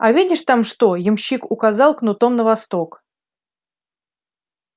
а видишь там что ямщик указал кнутом на восток